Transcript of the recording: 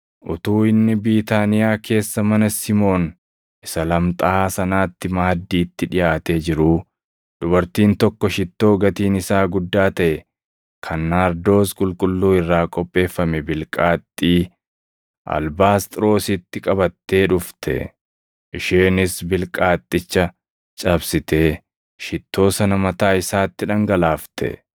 Utuu inni Biitaaniyaa keessa mana Simoon isa lamxaaʼaa sanaatti maaddiitti dhiʼaatee jiruu, dubartiin tokko shittoo gatiin isaa guddaa taʼe kan naardoos qulqulluu irraa qopheeffame bilqaaxxii albaasxiroositti qabattee dhufte. Isheenis bilqaaxxicha cabsitee shittoo sana mataa isaatti dhangalaafte.